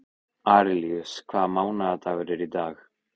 Arilíus, hvaða mánaðardagur er í dag?